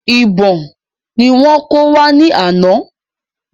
Ìbọn ni wọ́n kó wá ní ana